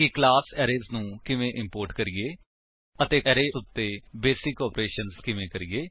class arrays ਨੂੰ ਕਿਵੇਂ import ਕਰੀਏ ਅਤੇ ਅਰੇਜ਼ ਉੱਤੇ ਬੇਸਿਕ ਓਪਰੇਸ਼ਨ ਕਿਵੇਂ ਕਰੀਏ